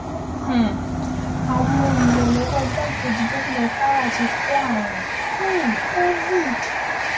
um àwọn olùrànlọ́wọ́ igbákejì gómìnà kwara ti kó àrùn um covid